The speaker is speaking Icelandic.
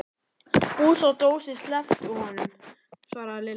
Fúsi og Dóri slepptu honum svaraði Lilla.